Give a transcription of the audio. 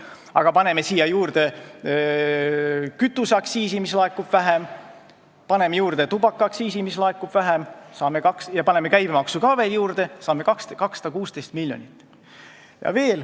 Aga paneme siia juurde kütuseaktsiisi, mida laekub vähem, paneme juurde tubakaaktsiisi, mida laekub vähem, ja paneme käibemaksu ka veel juurde ning saame 216 miljonit.